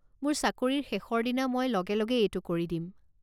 মোৰ চাকৰিৰ শেষৰ দিনা মই লগে লগে এইটো কৰি দিম।